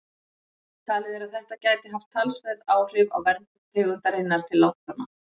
Talið er að þetta gæti haft talsverð áhrif á verndun tegundarinnar til langframa.